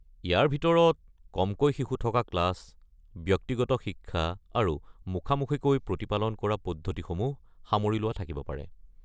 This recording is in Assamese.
ইয়াৰ ভিতৰত কমকৈ শিশু থকা ক্লাছ, ব্যক্তিগত শিক্ষা আৰু মুখামুখিকৈ প্ৰতিপালন কৰা পদ্ধতিসমূহ সামৰি লোৱা থাকিব পাৰে।